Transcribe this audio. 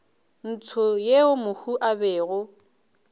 ntsho yeo mohu a bego